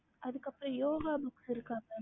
ஹம்